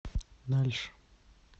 дальше